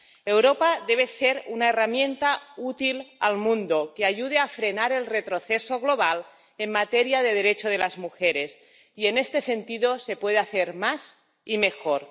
Europa debe ser una herramienta útil al mundo que ayude a frenar el retroceso global en materia de derechos de las mujeres y, en este sentido, se puede hacer más y mejor.